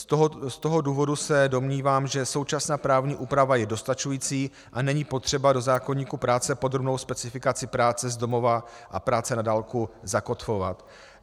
Z toho důvodu se domnívám, že současná právní úprava je dostačující a není potřeba do zákoníku práce podrobnou specifikace práce z domova a práce na dálku zakotvovat.